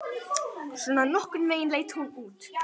Svona nokkurn veginn leit hún út: